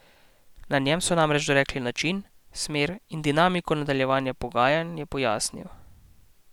Na njem so namreč dorekli način, smer in dinamiko nadaljevanja pogajanj, je pojasnil.